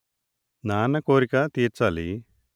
నాన్న కోరిక తీర్చాలి